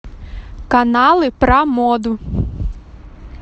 каналы про моду